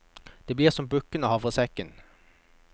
Det blir som bukken og havresekken.